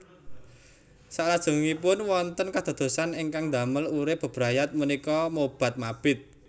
Saklajengipun wonten kadadosan ingkang ndamel urip bebrayat punika mobat mabit